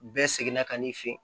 Bɛɛ seginna ka n'i fɛ yen